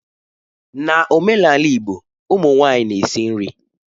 N'omenala Igbo ụmụ nwanyị na-esi nri.